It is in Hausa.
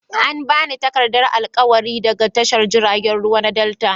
An ba ni takardar alƙawari daga tashar jiragen ruwa na delta.